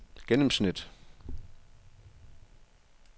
gennemsnit